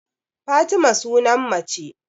Fatima sunan mace